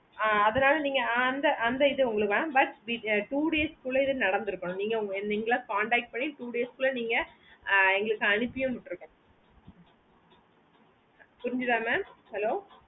ஆஹ் அதுனால நீங்க அந்த இது mam but two days குள்ள இது நடந்து இருக்குனோம் நீங்களா contact பண்ணி two days குள்ள நீங்க எங்களுக்கு அனுப்பியே வீட்டுற்குனும் புரிஞ்சிதா mam hello